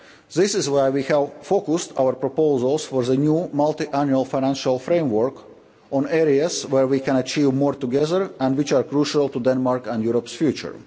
purpose. This is why we have focused our proposals for the new multiannual financial framework on areas where we can achieve more together and which are crucial to Denmark's and Europe's